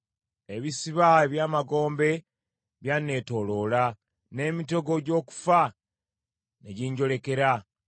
Ebisiba eby’amagombe byanneetooloola; n’emitego gy’okufa ne ginjolekera.